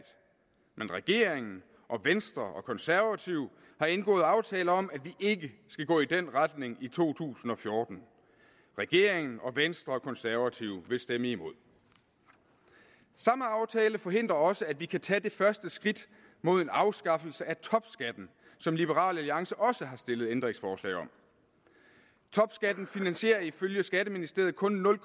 men regeringen og venstre og konservative har indgået aftale om at vi ikke skal gå i den retning i to tusind og fjorten regeringen og venstre og konservative vil stemme imod samme aftale forhindrer også at vi kan tage det første skridt mod en afskaffelse af topskatten som liberal alliance også har stillet ændringsforslag om topskatten finansierer ifølge skatteministeriet kun nul